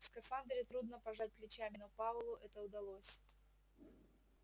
в скафандре трудно пожать плечами но пауэллу это удалось